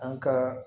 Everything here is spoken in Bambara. An ka